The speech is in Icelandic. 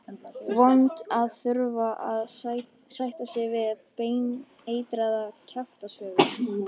Vont að þurfa að sætta sig við baneitraðar kjaftasögur.